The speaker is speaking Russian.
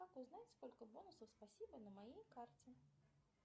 как узнать сколько бонусов спасибо на моей карте